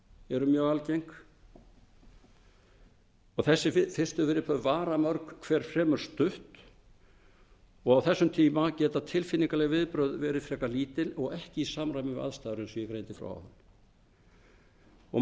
eru mjög algeng og þessi fyrstu viðbrögð vara mörg hver fremur stutt á þessum tíma geta tilfinningaleg viðbrögð verið frekar lítil og ekki í samræmi við aðstæður efst og ég greindi